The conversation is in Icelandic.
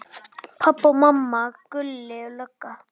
Pabbi og mamma, Gulli lögga.